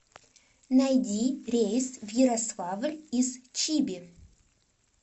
найди рейс в ярославль из чиби